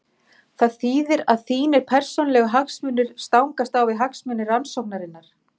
Það þýðir að þínir persónulegu hagsmunir stangast á við hagsmuni rannsóknarinnar.